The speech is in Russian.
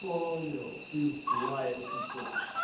понял ты злая сейчас